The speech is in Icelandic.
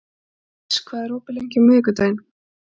Kris, hvað er opið lengi á miðvikudaginn?